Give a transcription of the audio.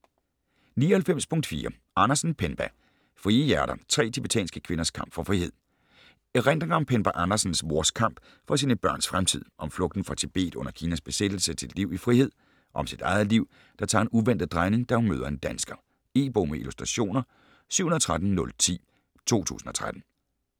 99.4 Andersen, Penpa Frie hjerter: tre tibetanske kvinders kamp for frihed Erindringer om Penpa Andersens mors kamp for sine børns fremtid - om flugten fra Tibet under Kinas besættelse til et liv i frihed. Om sit eget liv, der tager en uventet drejning, da hun møder en dansker. E-bog med illustrationer 713010 2013.